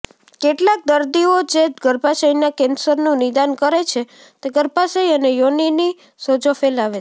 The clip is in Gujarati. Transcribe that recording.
કેટલાક દર્દીઓ જે ગર્ભાશયના કેન્સરનું નિદાન કરે છે તે ગર્ભાશય અને યોનિની સોજો ફેલાવે છે